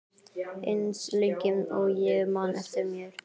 Eins lengi og ég man eftir mér.